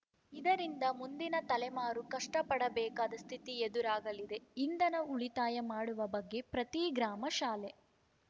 ಇದರಿಂದ ಮುಂದಿನ ತಲೆಮಾರು ಕಷ್ಟಪಡಬೇಕಾದ ಸ್ಥಿತಿ ಎದುರಾಗಲಿದೆ ಇಂಧನ ಉಳಿತಾಯ ಮಾಡುವ ಬಗ್ಗೆ ಪ್ರತೀ ಗ್ರಾಮ ಶಾಲೆ